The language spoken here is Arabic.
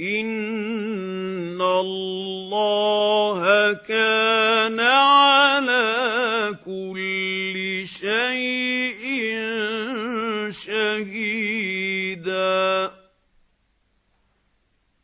إِنَّ اللَّهَ كَانَ عَلَىٰ كُلِّ شَيْءٍ شَهِيدًا